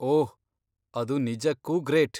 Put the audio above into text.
ಓಹ್, ಅದು ನಿಜಕ್ಕೂ ಗ್ರೇಟ್.